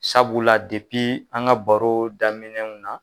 Sabula la an ka baro daminɛw na.